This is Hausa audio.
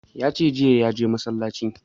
Ya ce jiya ya je masallacin